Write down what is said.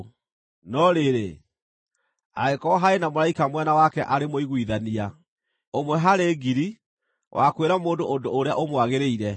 “No rĩrĩ, angĩkorwo harĩ na mũraika mwena wake arĩ mũiguithania, ũmwe harĩ ngiri, wa kwĩra mũndũ ũndũ ũrĩa ũmwagĩrĩire,